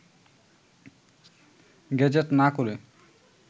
gazette না করে